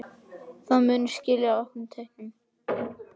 Það muni skila auknum tekjum.